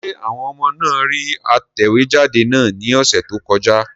Ṣé àwọn ọmọ náà rí atẹ̀wéjáde náà ní ọ̀sẹ̀ tó kọjá?